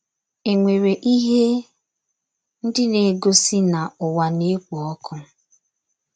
Enwere ihe ndị na - egosi na ụwa na - ekpo ọkụ?